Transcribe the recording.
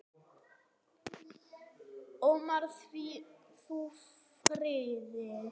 Ómar, hvíl þú í friði.